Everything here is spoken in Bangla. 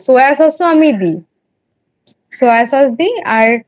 Soya Sauce আমি দিই Soya Sauce দিই আর